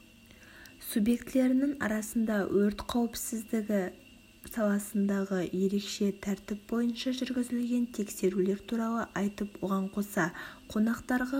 субъектілерінің арасында өрт қауіпсіздігі саласындағы ерекше тәртіп бойынша жүргізілген тексерулер туралы айтып оған қоса қонақтарға